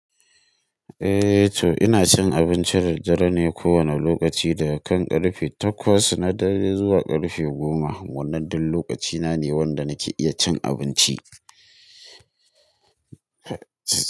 Eh to ina cin abincin daddare ne kowane lokaci daga karfe takwas na dare zuwa karfe goma. Wannnan duk lokacina ne wanda nake iya cin abinci.